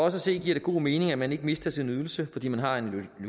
at se giver det god mening at man ikke mister sin ydelse fordi man har en